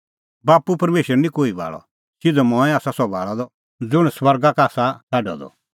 बाप्पू परमेशर निं कोही भाल़अ सिधअ मंऐं आसा सह भाल़अ द ज़ुंण स्वर्गा का आसा छ़ाडअ द